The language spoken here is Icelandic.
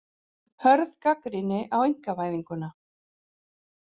Hörð gagnrýni á einkavæðinguna